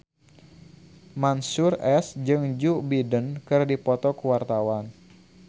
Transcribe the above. Mansyur S jeung Joe Biden keur dipoto ku wartawan